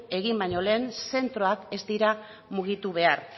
egin baino lehen zentroak ez dira mugitu behar